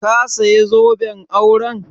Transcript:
Ka saya zoben auren?